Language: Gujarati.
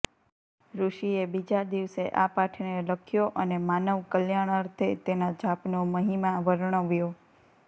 ઋષિએ બીજા દિવસે આ પાઠને લખ્યો અને માનવ કલ્યાણાર્થે તેના જાપનો મહિમા વર્ણવ્યો